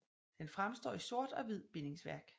Den fremstår i sort og hvid bindingsværk